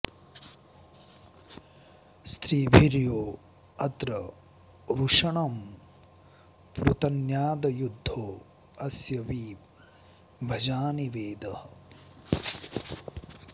स्त्री॒भिर्यो अत्र॒ वृष॑णं पृत॒न्यादयु॑द्धो अस्य॒ वि भ॑जानि॒ वेदः॑